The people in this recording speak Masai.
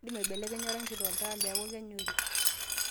indim aiblekenya orangi loltaa peeku kenyori